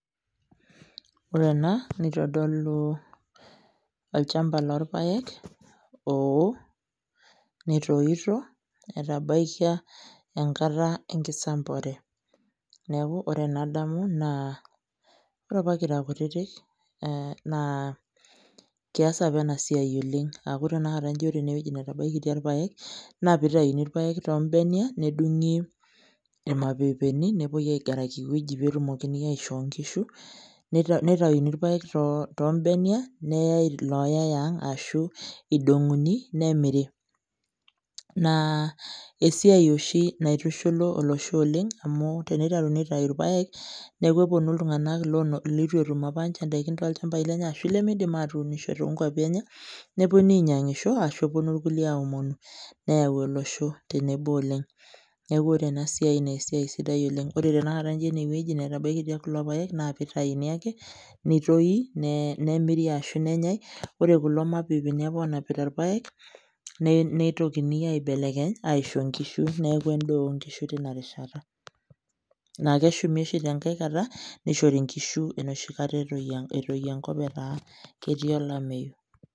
Ore ena nitodolu olchamba lorpaek oo netoito etabaikia enkata enkisambuare,. Neeku ore enadamu naa ore apa kira kutitik, ee naa kias apa ena siai oleng' aaku tenakata nji ore ene wueji netabaikitia irpaek naa piitayuni irpaek too mbenia nedung'i irmapepeni nepuoi aigaraki ewueji pee etumokini aishoo nkishu nita nitayuni irpaek too mbenia, neyai ilooyai aang' ashu idong'uni nemiri naa esiai oshi naitushulu olosho oleng' amu teniteruni aitau irpaek neeku eponu iltung'ani lono litu etum apa nje ndaikin toolchambai lenye ashu lemiidim atuunisho too nkuapi enye, neponu ainyang'isho ashu eponu irkulie aomonu neyau olosho tenebo oleng'. Neeku ore ena siai naa esiai sidai oleng', ore tenakata nji ene wueji netabaikitia kulo paek naa pitayuni ake nitoyi ne neemiri ashu nenyai ore kulo mapepeni apa oonapita kula paek ne neitoki aibelekeny aisho nkishu, neeku endaa o nkishu tina rishata naake eshumi oshi tenkae kata nishori nkishu enoshi kata etoyio etoyio enkop etaa ketii olameyu.